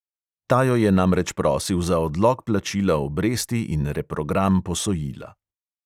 Ta jo je namreč prosil za odlog plačila obresti in reprogram posojila.